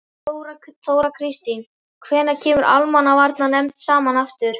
Þóra Kristín: Hvenær kemur almannavarnanefnd saman aftur?